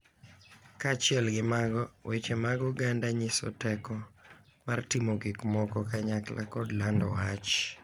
Kaachiel gi mago, weche mag oganda nyiso teko mar timo gik moko kanyakla kod lando wach.